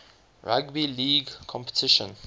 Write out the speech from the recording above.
rugby league competition